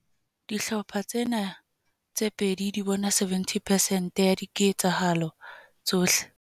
Dihlopha tsena tse pedi di bona 70 percent ya dike tsahalo tsohle.